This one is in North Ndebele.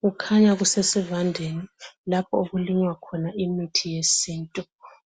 Kukhanya kusesivandeni lapho okulinywa khona imithi esintu